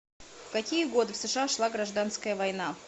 в какие годы в сша шла гражданская война